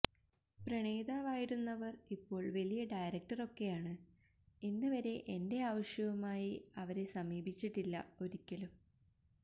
പ്രണയിതാവായിരുന്നവർ ഇപ്പോൾ വലിയ ഡയറക്ടർ ഒക്കെയാണ് ഇന്നുവരെ എന്റെ ആവശ്യവുമായി അവരെ സമീപിച്ചിട്ടില്ല ഒരിക്കലും